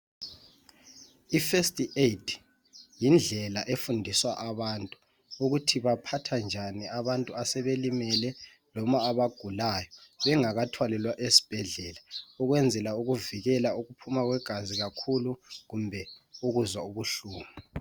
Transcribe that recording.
I FIRST AID yindlela efundiswa abantu ukuthi baphatha njani abantu asebelimele noma abagulayo bengakathwalelwa esibhedlela ukwenzela ukuvikela ukuphuma kwegazi kakhulu kumbe ukuzwa ubuhlungu.